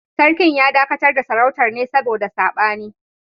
Sarkin ya dakatar da Sarautar ne saboda sabani